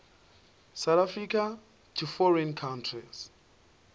south africa to foreign countries